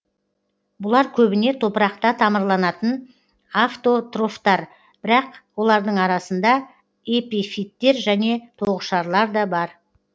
бұлар көбіне топырақта тамырланатын автотрофтар бірақ олардың арасында эпифиттер және тоғышарлар да бар